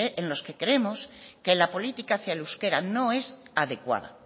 en los que creemos que la política hacia el euskera no es adecuada